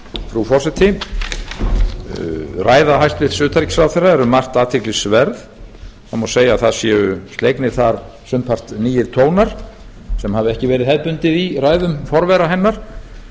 frú forseti ræða hæstvirts utanríkisráðherra er um margt athyglisverð það má segja að það séu slegnir þar sumpart nýir tónar sem hafa ekki verið hefðbundið í ræðum forvera hennar